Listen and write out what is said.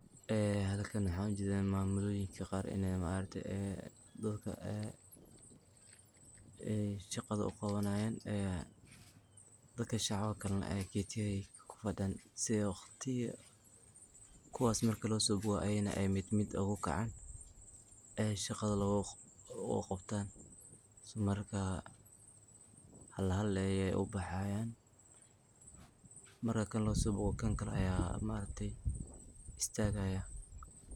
Halkan waxa ogajeda inii mamoyinka qar ee dadka shaqado uqawanayan, dadkas okale aya ketiyada kufadiyan sii ey kuwas marki losobogo ayagana ey mid mid ogukacan ee shaqada uu qabtan marka hal hal ayey ubaxayan, marki qof losobogo mid kale aya istagaya.